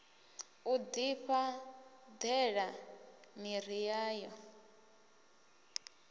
u ḓifha ṱela miḓi yayo